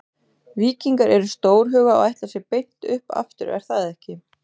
Víkingar eru stórhuga og ætla sér beint upp aftur er það ekki?